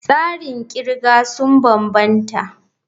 Tsarin kirga sun bambanta.